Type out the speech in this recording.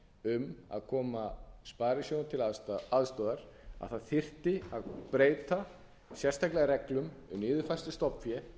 um að koma sparisjóðunum til aðstoðar að það þyrfti að breyta sérstaklega reglum og niðurfærslu stofnfé